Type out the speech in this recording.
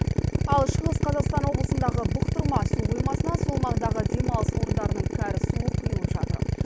ал шығыс қазақстан облысындағы бұқтырма су қоймасына сол маңдағы демалыс орындарының кәріз суы құйылып жатыр